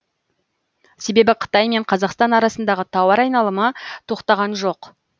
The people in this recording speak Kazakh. себебі қытай мен қазақстан арасындағы тауар айналымы тоқтаған жоқ